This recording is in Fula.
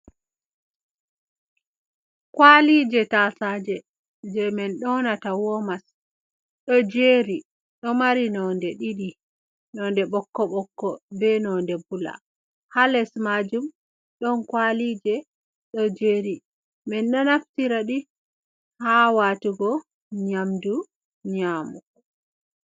Kawalije tasaje, je min ɗonata womas. Ɗo jeri, ɗo mari nonɗe ɗiɗi. Nonɗe ɓokko ɓokkko, be noɗe bula. Ha les majum ɗon kawalije ɗo jeri. Min ɗo naftiraɗi ha watugo nyamɗu nyamɗu.